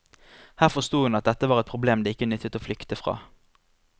Her forsto hun at dette var et problem det ikke nyttet å flykte fra.